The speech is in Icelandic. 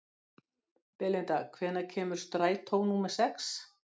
Belinda, hvenær kemur strætó númer sex?